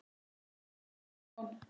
Þín Lilja og Stefán.